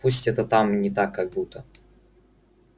пусть это там не так как будто